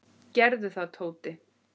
Gerðu það, Tóti!